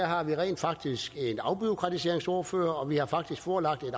har vi rent faktisk en afbureaukratiseringsordfører og vi har faktisk forelagt et